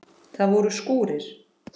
Það voru skúrir.